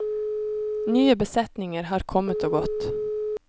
Nye besetninger har kommet og gått.